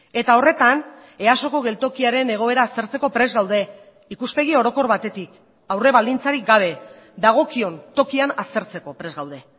eta horretan easoko geltokiaren egoera aztertzeko prest gaude ikuspegi orokor batetik aurre baldintzarik gabe dagokion tokian aztertzeko prest gaude